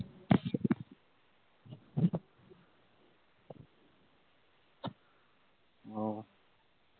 ওহ